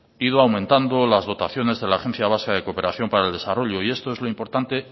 ido aumentando las dotaciones de la agencia vasca de cooperación para el desarrollo y esto es lo importante